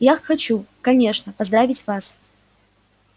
я хочу конечно поздравить вас